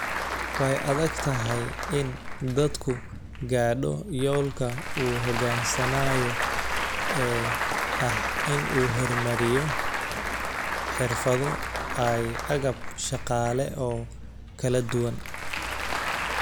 Way adagtahay in dalku gaadho yoolka uu higsanaayo ee ah in uu horumariyo xirfado iyo agab shaqaale oo kala duwan.